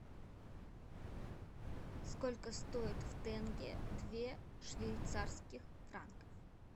сколько стоит в тенге два швейцарских франка